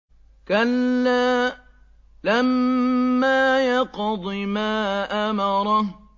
كَلَّا لَمَّا يَقْضِ مَا أَمَرَهُ